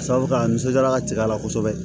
Sabu ka nisɔndiya ka ci a la kosɛbɛ